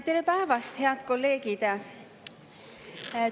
Tere päevast, head kolleegid!